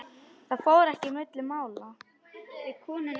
Það fór ekki milli mála.